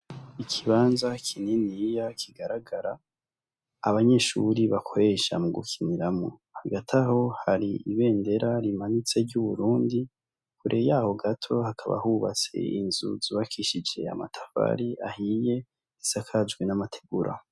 Ikibanza kineniya kigaragara abanyeshuri bakwesha mu gukiniramwo hagataho hari ibendera rimanyitse ry'uburundi kure yaho gato hakaba hubatse inzu zubakishije amatafari ahiye risakajwi n'amategura.